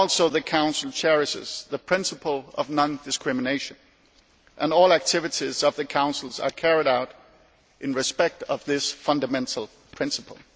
The Council also cherishes the principle of non discrimination and all activities of the Councils are carried out in respect of this fundamental principle.